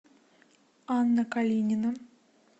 анна калинина